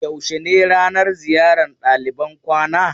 Yaushe ne ranan ziyar ɗaliban kwana?